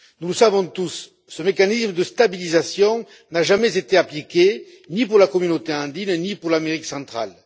Nous le savons tous ce mécanisme de stabilisation n'a jamais été appliqué ni pour la communauté andine, ni pour l'Amérique centrale.